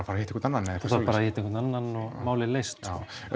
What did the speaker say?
að hitta einhvern annan þarft bara að hitta einhvern annan og málin leyst